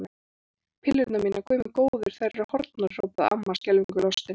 Pillurnar mínar, Guð minn góður, þær eru horfnar! hrópaði amma skelfingu lostin.